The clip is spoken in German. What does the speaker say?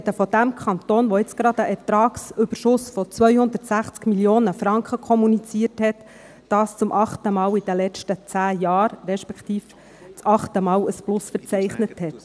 Wir sprechen von dem Kanton, der gerade einen Ertragsüberschuss von 260 Mio. Franken kommuniziert hat – dies zum achten Mal in den letzten zehn Jahren –, respektive der zum achten Mal ein Plus verzeichnet hat.